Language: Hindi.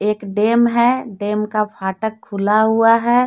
एक डैम है डैम का फाटक खुला हुआ है।